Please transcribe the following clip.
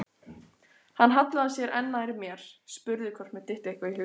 Hann hallaði sér enn nær mér, spurði hvort mér dytti eitthvað í hug.